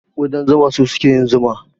Ƙudan zuma su suke yin zuma.